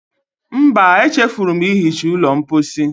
Mba, echefuru m ihicha ụlọ mposi.